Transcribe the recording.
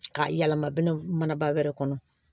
Ka yɛlɛma mana wɛrɛ kɔnɔ